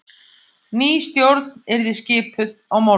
Ný stjórn yrði skipuð á morgun